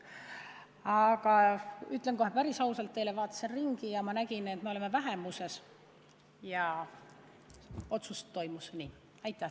Aga ütlen kohe päris ausalt teile, ma vaatasin ringi ja ma nägin, et me oleme vähemuses, ja otsus oli nii.